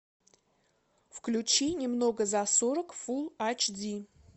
включи немного за сорок фул айч ди